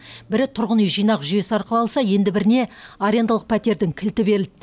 бірі тұрғын үй жинақ жүйесі арқылы алса енді біріне арендалық пәтердің кілті берілді